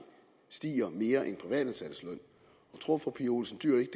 stiger mere end privatansattes løn tror fru pia olsen dyhr ikke